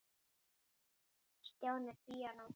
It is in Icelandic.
Stjáni píanó